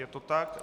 Je to tak?